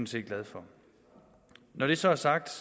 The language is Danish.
set glad for når det så er sagt